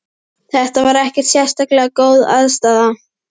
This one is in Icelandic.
Þetta var ekkert sérlega góð aðstaða.